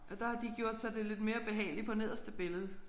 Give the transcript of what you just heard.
Og der har de gjort så det er lidt mere behageligt på nederste billede